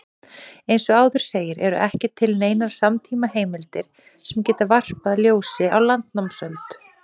Eins og áður segir eru ekki til neinar samtímaheimildir sem geta varpað ljósi á landnámsöld.